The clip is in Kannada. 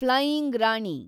ಫ್ಲೈಯಿಂಗ್ ರಾಣಿ